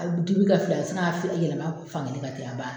A dibi ka fila sin ka fi yɛlɛma fan kelen ten a baana